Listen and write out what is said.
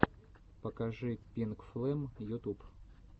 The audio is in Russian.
покажи пинкфлэм ютуб